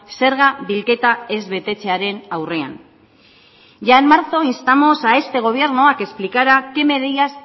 zerga bilketa ez betetzearen aurrean ya en marzo instamos a este gobierno a que explicara qué medidas